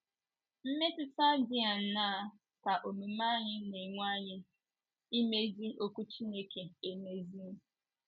Mmetụta dị aṅaa ka omume anyị na - enwe anyị, ị mezi Okwu Chineke émezi?